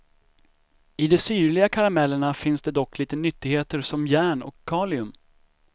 I de syrliga karamellerna finns det dock lite nyttigheter som järn och kalium.